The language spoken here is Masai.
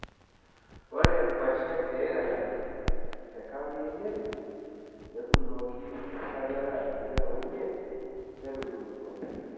Ore nkuashen e Ireland te kaunti e Nyeri, netuunoki esajata e 25 netubulutua.